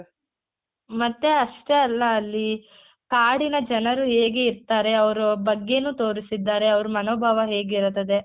ಮತ್ತೆ ಅಷ್ಟೇ ಅಲ್ಲ ಅಲ್ಲಿ ಕಾಡಿನ ಜನರು ಹೇಗೆ ಇರ್ತಾರೆ ಅವ್ರ ಬಗ್ಗೆನೂ ತೋರ್ಸಿದ್ದಾರೆ ಅವರ ಮನೋಭಾವ ಹೇಗಿರುತ್ತದೆ .